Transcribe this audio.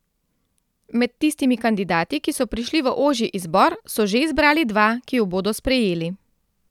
Med tistimi kandidati, ki so prišli v ožji izbor, so že izbrali dva, ki ju bodo sprejeli.